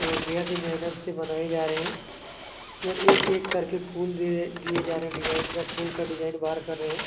और बेहद ही मेहनत से बनाई जा रहे है और एक-एक करके फूल दिए-दिए जा रहे है डिजाईन का फूल-फूल का डिजाईन बार कर रहे है ।